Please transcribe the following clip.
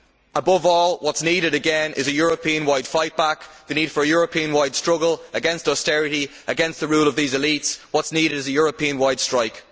Above all, what is needed again is a European wide fightback, the need for a European wide struggle against austerity and against the rule of these elites. What is needed is a European wide strike.